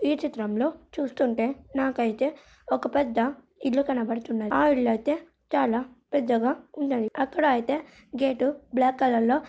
ఈ చిత్రంలో చూస్తుంటే నాకైతే ఒక పెద్ద ఇల్లు కనపడుతున్నది ఆ ఇల్లు అయితే చాలా పెద్దగా ఉన్నది అక్కడ అయితే గెట్ బ్లాక్ కలర్ లో --